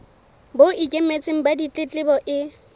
bo ikemetseng ba ditletlebo e